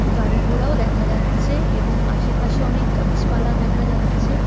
গাড়িঘোড়াও দেখা যাচ্ছে এবং আশেপাশে অনেক গাছপালা দেখা যাচ্ছে।